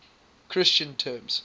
christian terms